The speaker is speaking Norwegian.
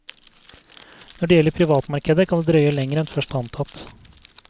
Når det gjelder privatmarkedet kan det drøye lenger en først antatt.